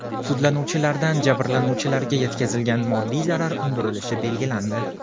Sudlanuvchilardan jabrlanuvchilarga yetkazilgan moddiy zarar undirilishi belgilandi.